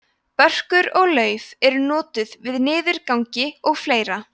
börkur og lauf eru notuð við niðurgangi og fleira